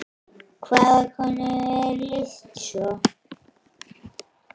Hvaða konu er lýst svo?